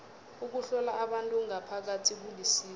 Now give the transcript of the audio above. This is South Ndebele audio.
ukuhlola abantu ngaphakathi kulisizo